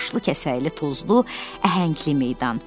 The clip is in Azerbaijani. Daşlı, kəsəkli, tozlu, əhəngli meydan.